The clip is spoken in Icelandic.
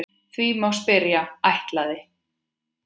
Því má spyrja: ætlaði